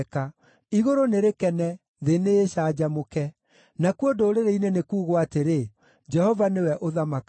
Igũrũ nĩ rĩkene, thĩ nĩĩcanjamũke; nakuo ndũrĩrĩ-inĩ nĩ kuugwo atĩrĩ, “Jehova nĩwe ũthamakaga!”